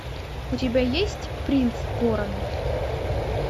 у тебя есть принц города